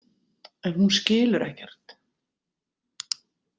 En hún skilur ekkert.